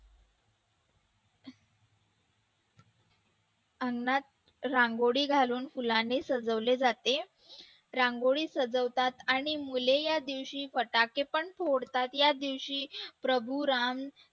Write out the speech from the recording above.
अंगणात रांगोळी घालून फुलाने सजवले जाते रांगोळी सजवतात आणि मुले या दिवशी फटाके पण फोडतात या दिवशी प्रभू राम